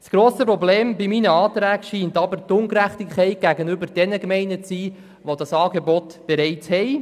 Das grosse Problem bei meinen Anträgen scheint aber die Ungerechtigkeit gegenüber den Gemeinden zu sein, die bereits ein Angebot haben.